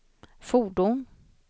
fordon